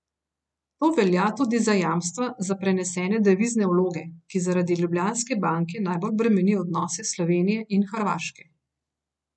To velja tudi za jamstva za prenesene devizne vloge, ki zaradi Ljubljanske banke najbolj bremeni odnose Slovenije in Hrvaške.